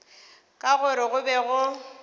ka gore go be go